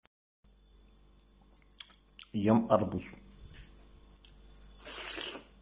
ем арбуз